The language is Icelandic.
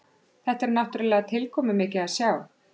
Þetta er náttúrulega tilkomumikið að sjá